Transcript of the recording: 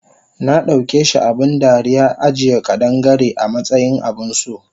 Nadaukeshi abun dariya ajiye ƙadan-Gare amatsayin abunso